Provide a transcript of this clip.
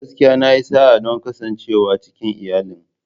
Gaskiya! Na yi sa'a don kasancewa cikin iyalin.